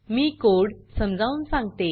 मी code समजवुन सांगते